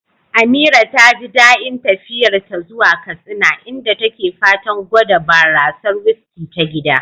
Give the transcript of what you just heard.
Amira taji dain tafiyarta ta zuwa Katsina, inda take fatan gwada barasar "whiskey" ta gida.